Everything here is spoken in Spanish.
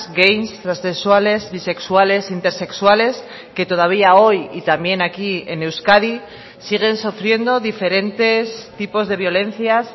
gays transexuales bisexuales intersexuales que todavía hoy y también aquí en euskadi siguen sufriendo diferentes tipos de violencias